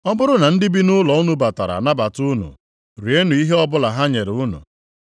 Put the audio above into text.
“Ọ bụrụ na ndị bi nʼobodo unu batara anabata unu, rienụ ihe ọbụla ha nyere unu.